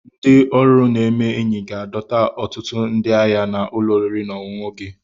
Ndị ọrụ na-eme enyi ga-adọta ọtụtụ ndị ahịa na ụlọ oriri na ọṅụṅụ gị